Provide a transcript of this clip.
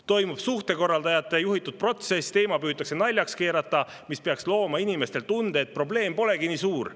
Toimub suhtekorraldajate juhitud protsess – teema püütakse naljaks keerata –, mis peaks looma inimestele tunde, et probleem polegi nii suur.